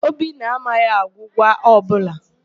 Obinna amaghị agwụgwa ọbụla.